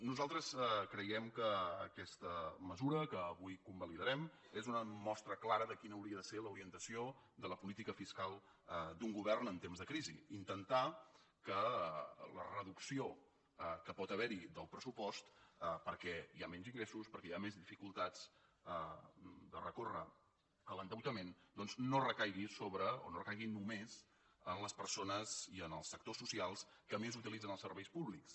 nosaltres creiem que aquesta mesura que avui convalidarem és una mostra clara de quina hauria de ser l’orientació de la política fiscal d’un govern en temps de crisi intentar que la reducció que pot haver hi del pressupost perquè hi ha menys ingressos perquè hi ha més dificultats de recórrer a l’endeutament no recaigui només en les persones i en els sectors socials que més utilitzen els serveis públics